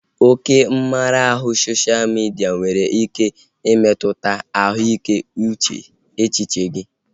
Oke mmara ahụ sosha midia nwere ike imetụta ahụike echiche gị